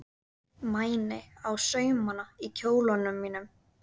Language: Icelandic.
Mæni á saumana í kjólnum mínum.